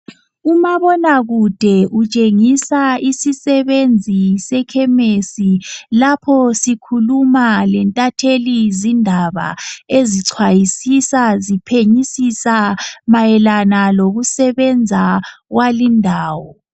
Umabonakude utshengisa isisebenzi sekhemisi lapho sikhuluma lentatheli zindaba ezichwayisisa ziphenyisisa mayelana lokusebenza kwalindawo.